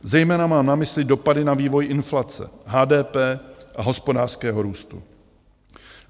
Zejména mám na mysli dopady na vývoj inflace, HDP a hospodářského růstu.